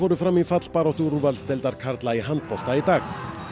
fram í fallbaráttu úrvalsdeildar karla í handbolta í dag